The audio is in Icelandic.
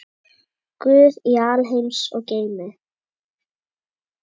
Guð í alheims geimi.